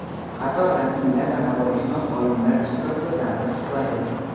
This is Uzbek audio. qator rasmiylar va navoiyshunos olimlar ishtirokida davra suhbati.